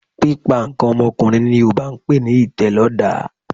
Pípa nǹkan ọmọkùnrin ni Yorùbá ń pe ní ìtẹ̀lọ́dàá